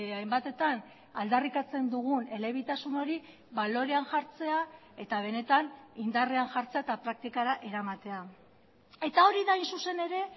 hainbatetan aldarrikatzen dugun elebitasun hori balorean jartzea eta benetan indarrean jartzea eta praktikara eramatea eta hori da hain zuzen ere